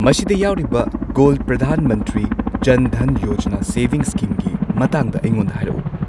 ꯃꯁꯤꯗ ꯌꯥꯎꯔꯤꯕ ꯒꯣꯜꯗ ꯄ꯭ꯔꯙꯥꯟ ꯃꯟꯇ꯭ꯔꯤ ꯖꯟ ꯙꯟ ꯌꯣꯖꯅꯥ ꯁꯦꯕꯤꯡꯁ ꯁ꯭ꯀꯤꯝꯒꯤ ꯃꯇꯥꯡꯗ ꯑꯩꯉꯣꯟꯗ ꯍꯥꯏꯔꯛꯎ!